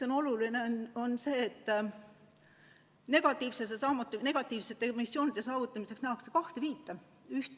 On oluline, et negatiivsete emissioonide saavutamisel nähakse kahte viita.